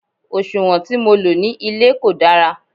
òṣùwọ̀n tí mo lò ní ilé kò dára